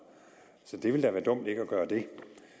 så det ville da være dumt ikke at gøre det